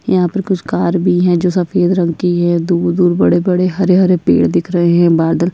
यहाँ पर कुछ कार भी है जो सफ़ेद रंग की है दूर -दूर बड़े - बड़े हरे - हरे पेड़ दिख रहे है बादल --